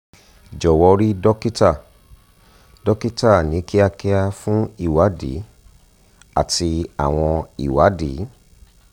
jọ̀wọ́ rí dókítà dókítà ní kíákíá fún ìwádìí àti àwọn ìwádìí